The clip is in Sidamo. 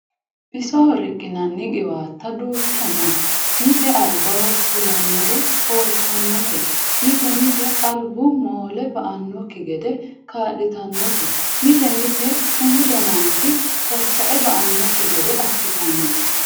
Bisoho riqinnanni qiwatta duucha no mite albaho fulanore hooltanote mite mite albu moole ba"anokki gede kaa'littanote mite mite umu dananchi tatae ba"anokki gede assittanote.